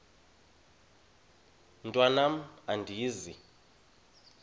mntwan am andizi